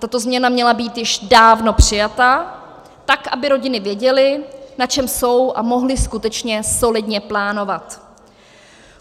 Tato změna měla být již dávno přijata, tak aby rodiny věděly, na čem jsou, a mohly skutečně solidně plánovat.